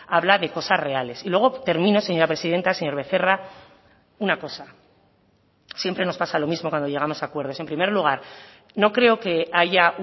habla de cosas reales y luego termino señora presidenta señor becerra una cosa siempre nos pasa lo mismo cuando llegamos a acuerdos en primer lugar no creo que haya